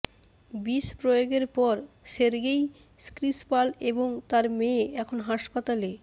বিষ প্রয়োগের পর সের্গেই স্ক্রিপাল এবং তার মেয়ে এখন হাসপাতালে